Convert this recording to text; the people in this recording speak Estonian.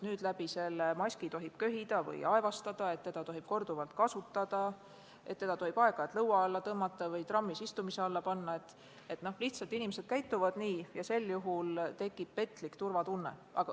Inimesed arvavad, et läbi maski tohib köhida või aevastada, seda tohib korduvalt kasutada, seda tohib aeg-ajalt lõua alla tõmmata või trammis istumise alla panna – inimesed lihtsalt käituvad nii –, ja sel juhul tekib petlik turvatunne.